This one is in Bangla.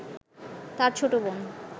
তার ছোট বোন